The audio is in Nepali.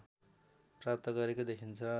प्राप्त गरेको देखिन्छ